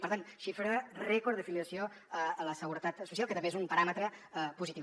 per tant xifra rècord d’afiliació a la seguretat social que també és un paràmetre positiu